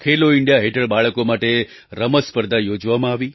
ખેલો India હેઠળ બાળકો માટે રમત સ્પર્ધા યોજવામાં આવી